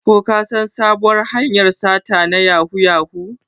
Ko kasan da sabuwar hanyar sata na yahoo yahoo?